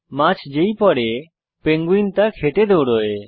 মাছ যেই পরে পেঙ্গুইন তা খেতে দৌড়োয়